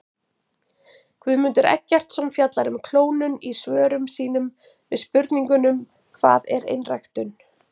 Guðmundur Eggertsson fjallar um klónun í svörum sínum við spurningunum Hvað er einræktun?